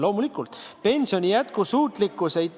Loomulikult!